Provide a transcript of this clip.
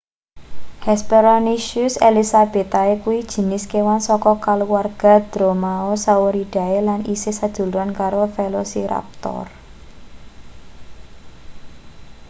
hesperonychus elizabethae kuwi jinis kewan saka kaluwarga dromaeosauridae lan isih seduluran karo velociraptor